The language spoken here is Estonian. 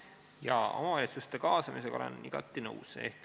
Jaa, omavalitsuste kaasamisega olen igati nõus.